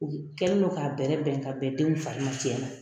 U kɛlen don ka bɛrɛ bɛn ka bɛn denw fari tiɲɛ na.